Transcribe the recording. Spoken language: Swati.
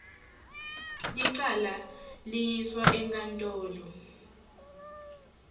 licala liyiswa enkantolo